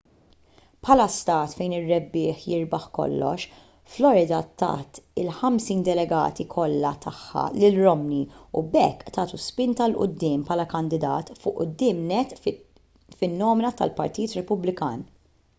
bħala stat fejn ir-rebbieħ jirbaħ kollox florida tat il-ħamsin delegati kollha tagħha lil romney u b'hekk tagħtu spinta il quddiem bħala kandidat fuq quddiem nett fin-nomina tal-partit repubblikan